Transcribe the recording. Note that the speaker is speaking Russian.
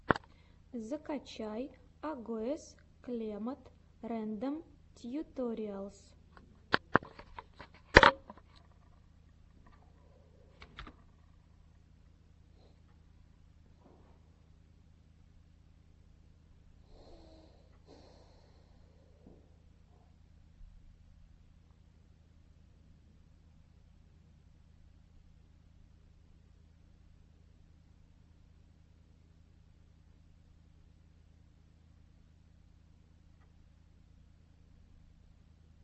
закачай агоез клемод рэндом тьюториалс